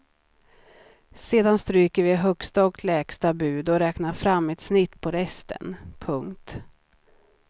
Sedan stryker vi högsta och lägsta bud och räknar fram ett snitt på resten. punkt